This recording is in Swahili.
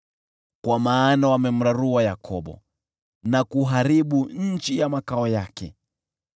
kwa maana wamemrarua Yakobo na kuharibu nchi ya makao yake.